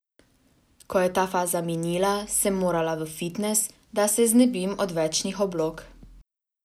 Ko je ta faza minila, sem morala v fitnes, da se znebim odvečnih oblog.